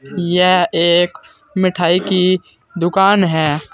यह एक मिठाई की दुकान है।